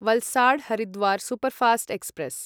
Valsad Haridwar superfast express